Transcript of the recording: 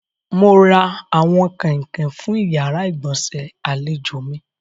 Mo ra àwọn kàǹnọ̀ fún ìyàrá-ìgbọ̀nsẹ̀ àlèjò mi.